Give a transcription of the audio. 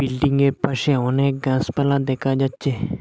বিল্ডিংয়ের পাশে অনেক গাসপালা দেখা যাচ্ছে।